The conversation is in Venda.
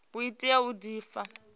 u tea u di pfa